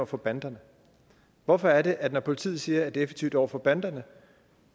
for banderne hvorfor er det at når politiet siger at det er effektivt over for banderne